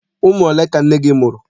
Ụmụ ole ka nne gị mụrụ?